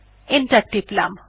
enter টিপলাম